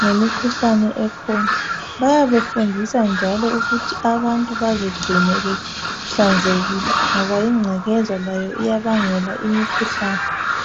ngemikhuhlane ekhona. Bayabe befundisa njalo ukuthi abantu bazigcine behlanzekile ngoba ingcekeza layo iyabangela imikhuhlane.